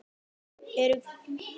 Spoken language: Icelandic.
Þau eru gulgræn á lit.